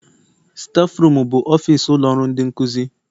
Stafurum bụ ofis ụlọ ọrụ ndị nkuzi.